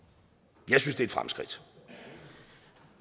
jeg synes et fremskridt